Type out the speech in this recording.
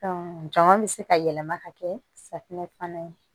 jama bi se ka yɛlɛma ka kɛ safinɛ fana ye